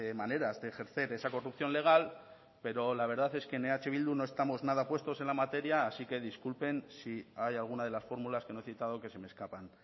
maneras de ejercer esa corrupción legal pero la verdad es que en eh bildu no estamos nada puestos en la materia así que disculpen si hay alguna de las fórmulas que no he citado que se me escapan